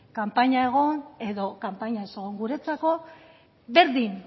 kanpaina egon edo kanpaina ez egon guretzako berdin